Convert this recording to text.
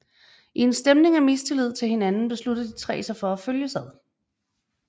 I en stemning af mistillid til hinanden beslutter de tre sig for at følges ad